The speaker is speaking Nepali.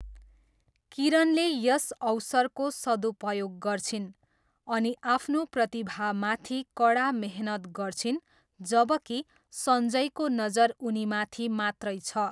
किरणले यस अवसरको सदुपयोग गर्छिन् अनि आफ्नो प्रतिभामाथि कडा मेहनत गर्छिन्, जबकि सञ्जयको नजर उनीमाथि मात्रै छ।